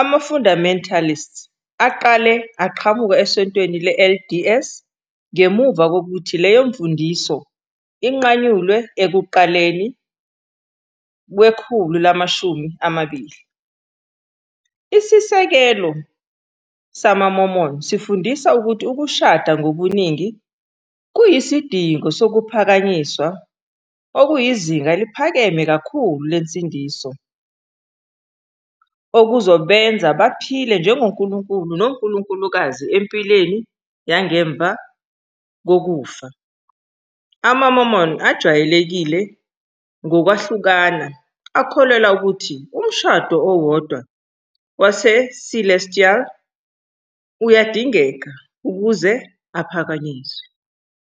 Ama-Fundamentalists aqale aqhamuka eSontweni LDS ngemuva kokuthi leyo mfundiso inqanyulwe ekuqaleni kwekhulu lama-20. Isisekelo samaMormon sifundisa ukuthi ukushada ngobuningi kuyisidingo sokuphakanyiswa, okuyizinga eliphakeme kakhulu lensindiso, okuzobenza baphile njengonkulunkulu nonkulunkulukazi empilweni yangemva kokufa. Ama-Mormon ajwayelekile, ngokwahlukana, akholelwa ukuthi umshado owodwa waseCelestial uyadingeka ukuze uphakanyiswe.